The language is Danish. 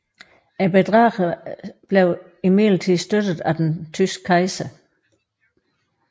Bedrageren støttedes imidlertid af den tyske kejser